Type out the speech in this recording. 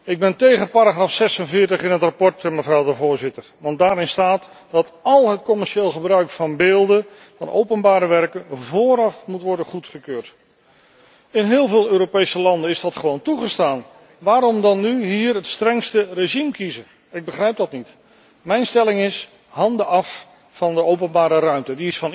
Ik ben tegen paragraaf 46 in het verslag, want daarin staat dat al het commerciële gebruik van beelden van openbare werken vooraf moet worden goedgekeurd. In heel veel Europese landen is dat gewoon toegestaan. Waarom dan nu hier het strengste regime kiezen? Ik begrijp dat niet. Mijn stelling is handen af van de openbare ruimte.